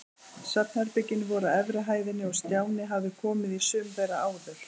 Svefnherbergin voru á efri hæðinni og Stjáni hafði komið í sum þeirra áður.